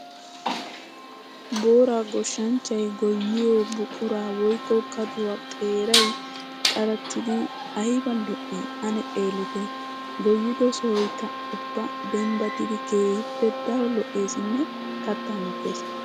Boora goshanchchay goyiyo buqura woykko kadduwa xeeray qarattiddi aybba lo'i! Ane xeellitte! Goyiddo sohoykka ubba dembbattiddi keehippe daro lo'eessinne katta mokkes.